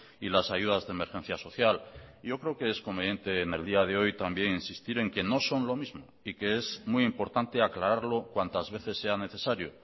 y las ayudas de emergencia social yo creo que es conveniente en el día de hoy también insistir en que no son lo mismo y que es muy importante aclararlo cuantas veces sean necesario